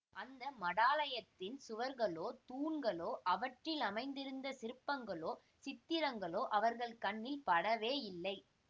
அந்த மடாலயத்தின் சுவர்களோ தூண்களோ அவற்றில் அமைந்திருந்த சிற்பங்களோ சித்திரங்களோ அவர்கள் கண்ணில் படவேயில்லை